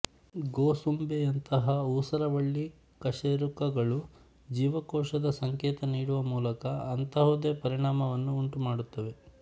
ಗೋಸುಂಬೆಯಂತಹಊಸರವಳ್ಳಿ ಕಶೇರುಕಗಳು ಜೀವಕೋಶದ ಸಂಕೇತ ನೀಡುವ ಮೂಲಕ ಅಂತಹುದೇ ಪರಿಣಾಮವನ್ನು ಉಂಟುಮಾಡುತ್ತವೆ